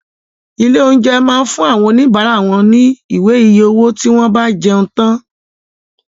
Ilé oúnjẹ món fun àwọn òní bara wón ní Ìwé iye owó tí wón bá jẹun tán